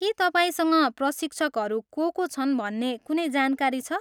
के तपाईँसँग प्रशिक्षकहरू को को छन् भन्ने कुनै जानकारी छ?